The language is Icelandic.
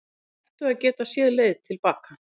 Ættu að geta séð leið til baka